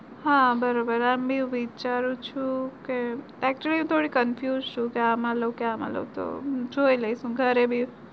હા બરોબર આમ ભી હું વિચારું છું કે actually થોડી confused આમાં લઉં કે આમાં લઉં હું જોઈ લઈશ